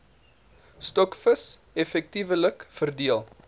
stokvis effektiewelik verdeel